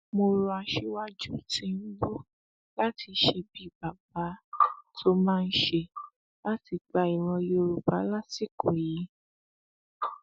mo rọ aṣíwájú tìǹbù láti ṣe bíi bàbá tó máa ń ṣe láti gba ìran yorùbá lásìkò yìí